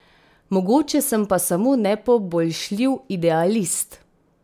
Mogoče sem pa samo nepoboljšljiv idealist.